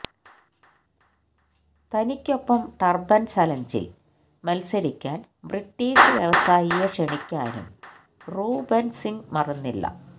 തനിക്കൊപ്പം turban ചലഞ്ചില് മത്സരിക്കാന് British വ്യവസായിയെ ക്ഷണിക്കാനും റൂബെന് സിങ്ങ് മറന്നില്ല